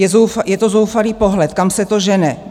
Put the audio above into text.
Je to zoufalý pohled, kam se to žene.